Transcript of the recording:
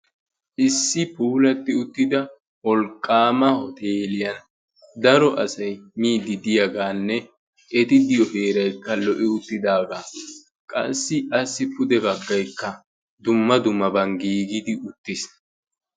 issi puulatti uttida owlqqaama hoteeliyan daro asay miidi diyaagaanne eti diyo heeraykka lo''i uttidaagaa qassi asi pude baggaykka dumma dummaban giigidi uttiis